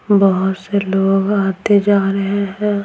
बहुत से लोग आते जा रहे हैं।